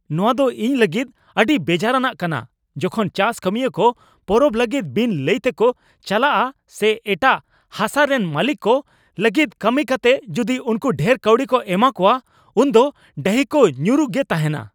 ᱱᱚᱶᱟ ᱫᱚ ᱤᱧ ᱞᱟᱹᱜᱤᱫ ᱟᱹᱰᱤ ᱵᱮᱡᱟᱨᱟᱱᱟᱜ ᱠᱟᱱᱟ ᱡᱚᱠᱷᱚᱱ ᱪᱟᱥ ᱠᱟᱹᱢᱤᱭᱟᱹ ᱠᱚ ᱯᱚᱨᱚᱵ ᱞᱟᱹᱜᱤᱫ ᱵᱤᱱ ᱞᱟᱹᱭᱛᱮᱠᱚ ᱪᱟᱞᱟᱜᱼᱟ ᱥᱮ ᱮᱴᱟᱜ ᱦᱟᱥᱟᱨᱮᱱ ᱢᱟᱹᱞᱤᱠ ᱠᱚ ᱞᱟᱹᱜᱤᱫ ᱠᱟᱹᱢᱤ ᱠᱟᱛᱮ ᱡᱩᱫᱤ ᱩᱱᱠᱩ ᱰᱷᱮᱨ ᱠᱟᱹᱣᱰᱤ ᱠᱚ ᱮᱢᱟᱠᱚᱣᱟ ᱾ ᱩᱱᱫᱚ ᱰᱟᱹᱦᱤ ᱠᱚ ᱧᱩᱨᱩ ᱜᱮ ᱛᱟᱦᱮᱱᱟ ᱾